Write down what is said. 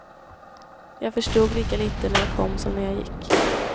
Jag förstod lika lite när jag kom som när jag gick.